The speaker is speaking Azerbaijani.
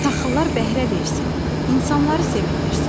Taxıllar bəhrə versin, insanları sevindirsin.